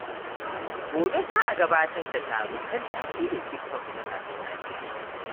Gobe, za a gudanar da taro kan tasirin TikTok ga matasan Najeriya.